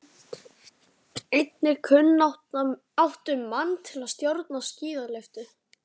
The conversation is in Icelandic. Einnig kunnáttumann til að stjórna skíðalyftu.